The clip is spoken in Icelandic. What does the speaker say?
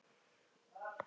Er hann ennþá í haldi?